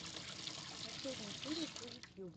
последняя серия фузи тьюба